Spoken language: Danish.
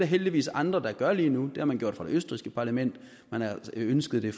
heldigvis andre der gør lige nu det har man gjort i det østrigske parlament man ønskede det